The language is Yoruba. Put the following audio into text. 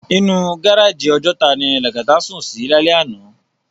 Inú gáráji Òjòtá ni Lagata sún si lálè àná